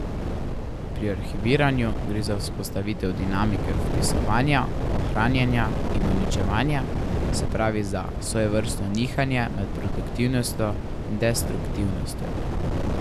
Pri arhiviranju gre za vzpostavitev dinamike vpisovanja, ohranjanja in uničevanja, se pravi, za svojevrstno nihanje med produktivnostjo in destruktivnostjo.